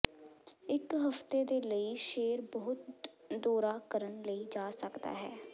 ਇੱਕ ਹਫ਼ਤੇ ਦੇ ਲਈ ਸ਼ੇਰ ਬਹੁਤ ਦੌਰਾ ਕਰਨ ਲਈ ਜਾ ਸਕਦਾ ਹੈ